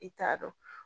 I t'a dɔn